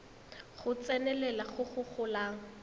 go tsenelela go go golang